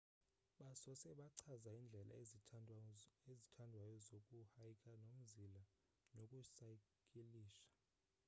basose bachaza indlela ezithandwayo zoku hyka nomzila noku saykilisha